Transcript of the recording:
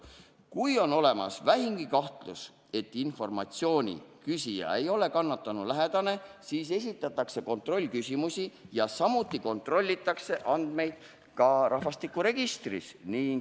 Kui on olemas vähimgi kahtlus, et informatsiooni küsija ei ole kannatanu lähedane, siis esitatakse kontrollküsimusi ja samuti kontrollitakse andmeid ka rahvastikuregistrist.